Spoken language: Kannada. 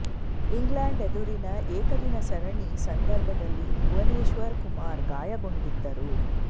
ಇಂಗ್ಲೆಂಡ್ ಎದುರಿನ ಏಕದಿನ ಸರಣಿ ಸಂದರ್ಭದಲ್ಲಿ ಭುವನೇಶ್ವರ್ ಕುಮಾರ್ ಗಾಯಗೊಂಡಿದ್ದರು